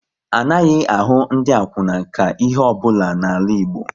Anaghị ahụ ndị akwuna ka ihe ọ bụla n'ala Igbo